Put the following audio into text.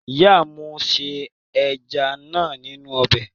Ìyà mú se ẹja náà nínú ọbẹ̀.